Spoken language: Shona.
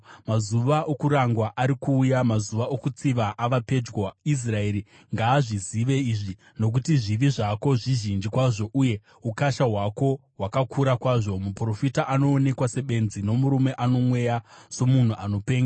Mazuva okurangwa ari kuuya, mazuva okutsiva ava pedyo. Israeri ngaazvizive izvi. Nokuti zvivi zvako zvizhinji kwazvo uye ukasha hwako hwakakura kwazvo. Muprofita anoonekwa sebenzi, nomurume ano mweya somunhu anopenga.